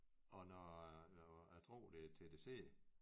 Og når når jeg tror det er TDC